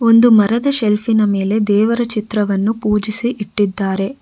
ಒಂದು ಮರದ ಶೇಲ್ಫ್ ಇನ ಮೇಲೆ ದೇವರ ಚಿತ್ರವನ್ನು ಪೂಜಿಸಿ ಇಟ್ಟಿದ್ದಾರೆ.